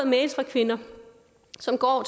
mails fra kvinder som går